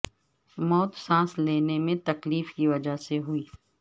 موت سانس لینے میں تکلیف کی وجہ سے ہوئی